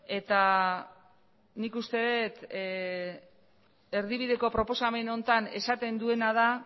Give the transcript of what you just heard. eta nik uste dut erdibideko proposamen honetan esaten duena da